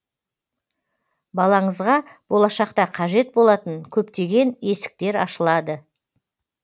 балаңызға болашақта қажет болатын көптеген есіктер ашылады